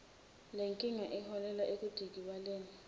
lenkinga iholela ekudikibaleni